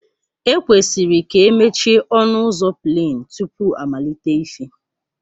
E kwesịrị k'emechie ọnu uzọ pleen tupu ọmalite ife.